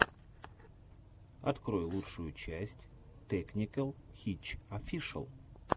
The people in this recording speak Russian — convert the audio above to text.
открой лучшую часть тэкникэл хитч офишэл